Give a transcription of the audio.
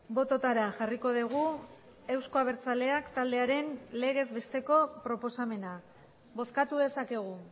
bototara jarriko dugu euzko abertzaleak taldearen legez besteko proposamena bozkatu dezakegu